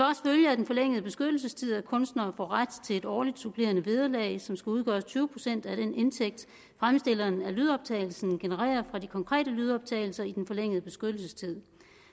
af den forlængede beskyttelsestid at kunstnere får ret til et årligt supplerende vederlag som skal udgøre tyve procent af den indtægt fremstilleren af lydoptagelsen genererer fra de konkrete lydoptagelser i den forlængede beskyttelsestid